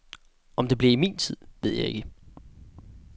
Om det bliver i min tid, ved jeg ikke.